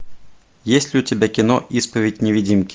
есть ли у тебя кино исповедь невидимки